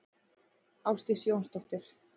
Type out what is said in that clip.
Ásdís Jónsdóttir.